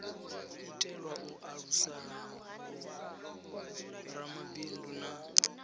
itelwa u alusa vhoramabindu na